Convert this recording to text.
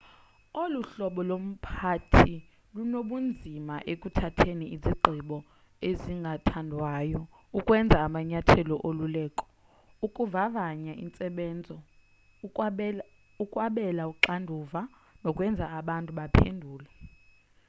olu hlobo lomphathi lunobunzima ekuthatheni izigqibo ezingathandwayo ukwenza amanyathelo oluleko ukuvavanya intsebenzo ukwabela uxanduva nokwenza abantu baphendule